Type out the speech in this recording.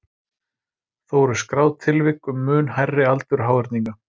Þó eru skráð tilvik um mun hærri aldur háhyrninga.